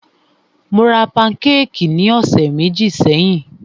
Mó rá pankékì ní ọ̀sẹ̀ méjì sẹ́yìn.